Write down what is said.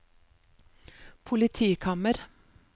politikammer